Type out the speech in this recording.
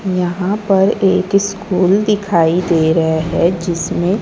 यहां पर एक स्कूल दिखाई दे रहा है जिसमे--